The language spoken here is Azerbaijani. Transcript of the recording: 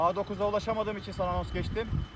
A9-a ulaşamadığım üçün anons keçdim.